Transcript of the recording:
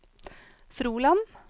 Froland